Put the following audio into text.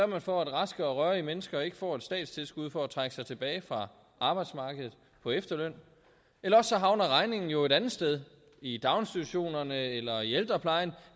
man for at raske og rørige mennesker ikke får et statstilskud for at trække sig tilbage fra arbejdsmarkedet på efterløn eller også havner regningen jo et andet sted i daginstitutionerne eller i ældreplejen